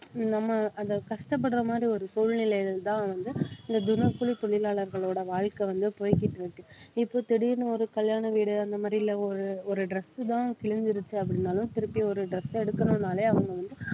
நம்ம அந்த கஷ்டப்படுற மாதிரி ஒரு சூழ்நிலையிலதான் வந்து இந்த தினக்கூலி தொழிலாளர்களோட வாழ்க்கை வந்து போய்கிட்டு இருக்கு இப்ப திடீர்னு ஒரு கல்யாண வீடு அந்த மாதிரி இல்ல ஒரு ஒரு dress தான் கிழிஞ்சிருச்சு அப்படினாலும் திருப்பி ஒரு dress எடுக்கணும்னாலே அவங்க வந்து